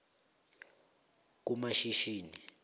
kumashishini